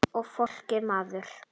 Og fólkið maður.